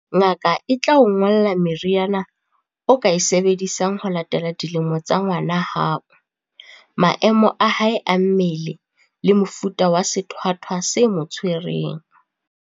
Ngaka e tla o ngolla meriana o ka e sebedisang ho latela dilemo tsa ngwana hao, maemo a hae a mmele le mofuta wa sethwathwa se mo tshwereng.